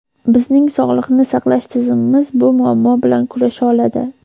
Bizning sog‘liqni saqlash tizimimiz bu muammo bilan kurasha oladi.